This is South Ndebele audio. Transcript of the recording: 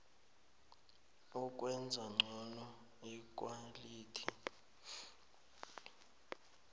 ukwenza ngcono ikhwalithi